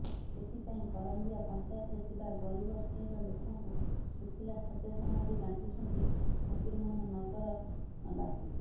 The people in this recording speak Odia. ଏଥିପାଇଁ କରଞ୍ଜିଆ ପଂଚାୟତରେ ଥିବା ଗରିବ ଶ୍ରେଣୀର ଲୋକଙ୍କୁ ଶୁଖିଲା ଖାଦ୍ୟ ସାମଗ୍ରୀ ବାଣ୍ଟିଛନ୍ତି ଫକୀରମୋହନ ନଗର ବାସୀ